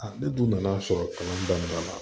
ne dun nana sɔrɔ kalan daminɛ la